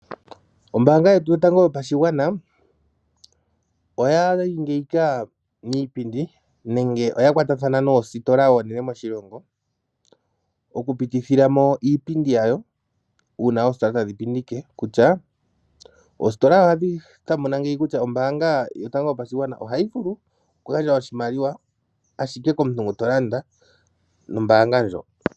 Ombaanga yetu yotango yopashigwana oyali ngiika miipindi nenge oyakwatathana noositola oonene moshilongo, okupitithila mo iipindi yawo uuna oositola tadhi pindike kutya, oositola ohadhi tamuna ngeyi kutya ombaanga yotango yopashigwana ohayi vulu okugandja oshimaliwa ashike komuntu ngu tolanda nombaanga ndjo.